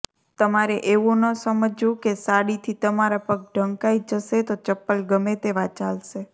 તમારે એવું ન સમજવું કે સાડીથી તમારા પગ ઢંકાઈ જશે તો ચપ્પલ ગમે તેવા ચાલશે